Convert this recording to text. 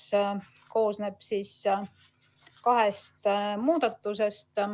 See koosneb kahest muudatusest.